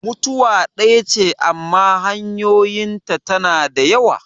Mutuwa ɗaya ce amma hanyoyin ta na da yawa.